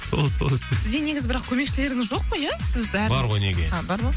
сол сол сізде негізі бірақ көмекшілеріңіз жоқ қой ия сіз бәрін бар ғой неге а бар ма